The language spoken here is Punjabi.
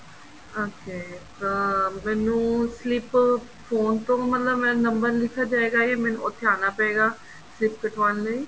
okay ਅਹ ਮੈਨੂੰ slip phone ਤੋਂ ਮਤਲਬ ਮੇਰਾ ਨੰਬਰ ਲਿਖਿਆ ਜਾਏਗਾ ਜਾਂ ਮੈਨੂੰ ਉੱਥੇ ਆਣਾ ਪਏਗਾ slip ਕੱਟਵਾਣ ਲਈ